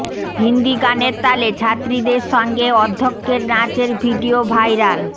হিন্দি গানের তালে ছাত্রীদের সঙ্গে অধ্যক্ষের নাচের ভিডিও ভাইরাল